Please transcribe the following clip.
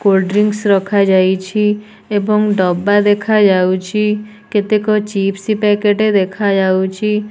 Cold drinks ରଖାଯାଇଛି ଏବଂ ଡବା ଦେଖାଯାଉଛି କେତେକ ଚିପ୍ସ ପ୍ୟାକେଟ ଦେଖାଯାଉଛି।